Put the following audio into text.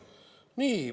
Nii.